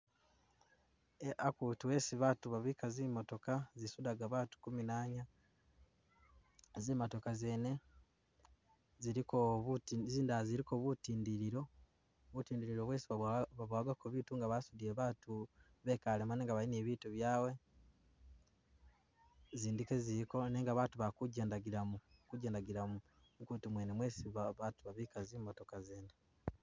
Eh akutu esi babaatu babika zi'motoka izi sudaka baatu kuminanya, zi'motoka zene ziliko buti zindala ziliko butindililo, butindililo bwesi babowakako biitu nga basudile baatu bekalemo nga basudile biitu byabwe, izindi ke ziliko nenga baatu bali kujendakilamo kujendakilamo mukutu mwene mwesi baatu babika zi'motoka mwene.